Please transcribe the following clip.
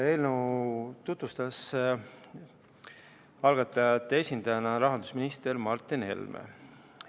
Eelnõu tutvustas algatajate esindajana rahandusminister Martin Helme.